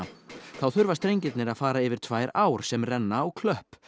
þá þurfa strengirnir að fara yfir tvær ár sem renna á klöpp